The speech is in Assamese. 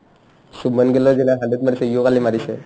শুভমান গিল hundred মাৰিছে ইও কালি মাৰিছে